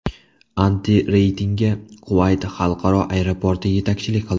Antireytingga Kuvayt Xalqaro aeroporti yetakchilik qildi.